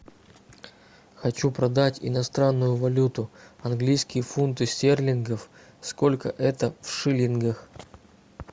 хочу продать иностранную валюту английские фунты стерлингов сколько это в шиллингах